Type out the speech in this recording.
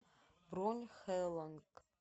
бронь хэлонг